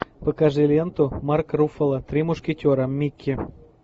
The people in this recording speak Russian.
покажи ленту марк руффало три мушкетера микки